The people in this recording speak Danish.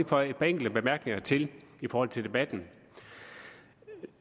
føje et par enkelte bemærkninger til i forhold til debatten